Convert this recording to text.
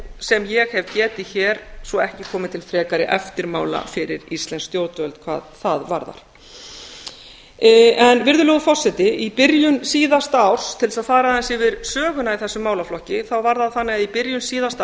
sem ég hef getið hér svo auk komi til frekari eftirmála fyrir íslensk stjórnvöld hvað það varðar virðulegi forseti í byrjun síðasta árs til að fara aðeins yfir söguna í þessum málaflokki þá var það þannig að í byrjun síðasta